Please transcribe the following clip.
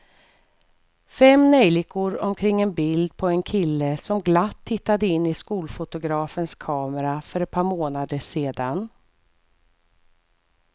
Fem neljikor omkring ett bild på en kille som glatt tittade in i skolfotografens kamera för ett par månader sedan.